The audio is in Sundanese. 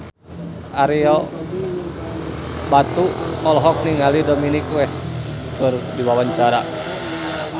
Ario Batu olohok ningali Dominic West keur diwawancara